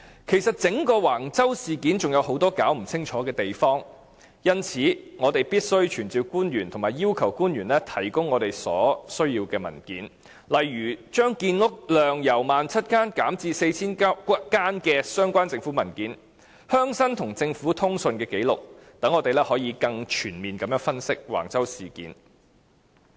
其實，整個橫洲事件仍有很多尚未弄清楚的地方，因此我們必須傳召官員及要求官員提供我們所需要的文件，例如將建屋量由 17,000 個單位減至 4,000 個單位的相關政府文件、鄉紳與政府的通訊紀錄，讓我們可以更全面地分析橫洲事件。